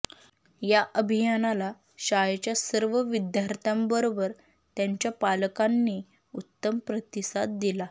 या अभियानाला शाळेच्या सर्व विद्यार्थ्यांबरोबर त्यांच्या पालकांनी उत्तम प्रतिसाद दिला